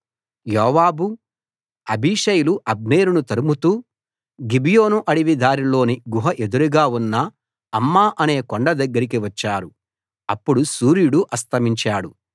యోవాబు అబీషైలు అబ్నేరును తరుముతూ గిబియోను అడవి దారిలోని గుహ ఎదురుగా ఉన్న అమ్మా అనే కొండ దగ్గరికి వచ్చారు అప్పుడు సూర్యుడు అస్తమించాడు